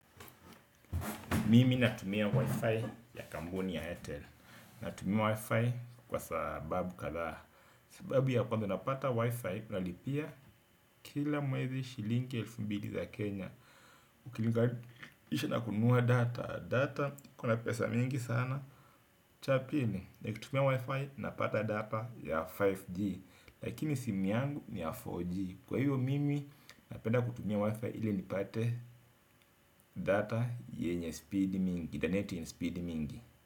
Mimi natumia wi-fi ya kampuni ya airtel natumia wi-fi kwa sababu kadhaa sababu ya kwanza napata wi-fi nalipia kila mwezi shilingi elfu mbili za kenya ukilinga isha nakunua data data kuna pesa mingi sana cha pili, nakitumia wi-fi napata data ya 5G lakini simu yangu ni ya 4G kwa hiyo mimi napenda kutumia wi-fi ili nipate data yenye speed mingi, the net in speed mingi.